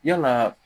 Yala